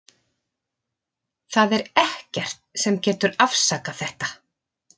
Það er ekkert sem getur afsakað þetta.